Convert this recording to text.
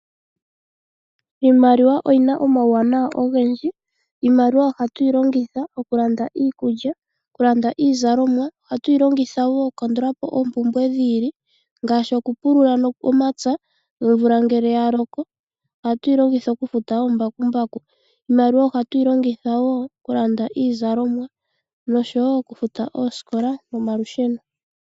Iimaliwa oyina omawunawa ogendji. Iimaliwa ohatuyi longitha okulanda Iikulya , okulanda iizalomwa. ohatuyi longitha woo okulandulapo oompumbwe dhi ili ngaashi oku pulula omapya omvula ngele yaloko ohatuyi longitha okufuta oombakumbaku. Iimaliwa ohatuyi longitha woo okulanda iizalomwa oshowo okufuta oosikola nomalusheno.